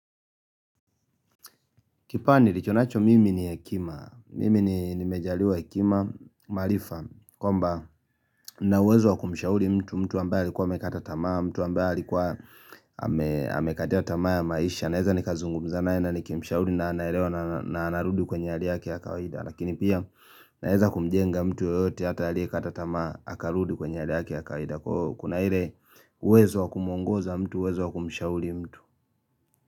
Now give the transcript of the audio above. Kipawa nilichonacho mimi ni hekima, mimi ni mejaliwa hekima, maarifa, kwamba na uwezo wa kumishauri mtu ambaye alikuwa amekata tamaa, mtu ambaye alikuwa amekataa tamaa ya maisha, naeza nikazungumza naye na nikimishauri na anaelewa na narudi kwenye hali yake ya kawaida, lakini pia naeza kumienga mtu yoyote hata aliye katatamaa, akarudi kwenye hali yake ya kawaida, kuna ile uwezo wa kumwongoza mtu, uwezo wa kumshauli mtu.